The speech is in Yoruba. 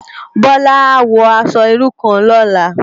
Bola á wò aṣò irú kán lòlá